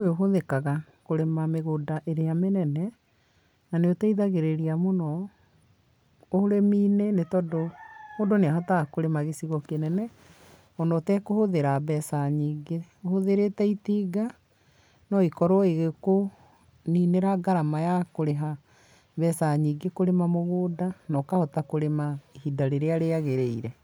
Undũ ũyũ ũhũthĩkaga kũrĩma mĩgũnda ĩrĩa mĩnene na nĩ ũteithagĩrĩria mũno ũrĩminĩ nĩ tondũ mũndũ nĩahotaga kũrĩma gĩcigo kĩnene ona ũtekũhũthĩra mbeca nyingĩ ũhũthĩrĩte itinga no rĩkorwo rĩgĩkũninĩra ngarama ya kũriha mbeca nyingĩ kũrĩma mũgũnda na ũkahota kũrĩma ihinda rĩria rĩagĩrĩire.